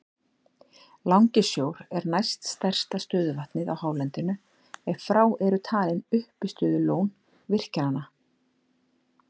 Langisjór er næst stærsta stöðuvatnið á hálendinu ef frá eru talin uppistöðulón virkjanna.